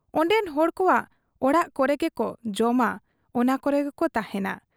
ᱚᱱᱰᱮᱱ ᱦᱚᱲ ᱠᱚᱣᱟᱜ ᱚᱲᱟᱜ ᱠᱚᱨᱮᱜᱮᱠᱚ ᱡᱚᱢᱟ, ᱚᱱᱟ ᱠᱚᱨᱮᱜᱮᱠᱚ ᱛᱟᱦᱮᱸᱱᱟ ᱾